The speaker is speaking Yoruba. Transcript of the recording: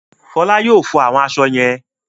Fọlá yóò fọ àwọn aṣọ yẹn?